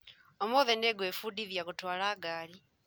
ũmũthĩ nĩngwĩbundithia gũtwara ngari